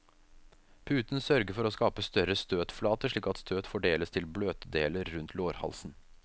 Puten sørger for å skape større støtflate, slik at støt fordeles til bløtdeler rundt lårhalsen.